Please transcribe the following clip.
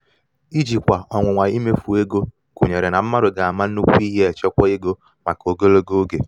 ijikwa ọnwụnwa imefu ego gunyere na mmadu ga ama nnukwu ihe echekwa ego maka ogologo oge